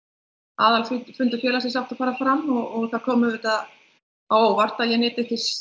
aðalfundur félagsins átti að fara fram og það kom auðvitað á óvart að ég nyti